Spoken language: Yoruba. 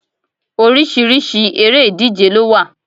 Oríṣiríṣi eré ìdíje ló wà